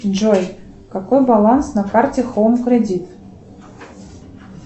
джой какой баланс на карте хоум кредит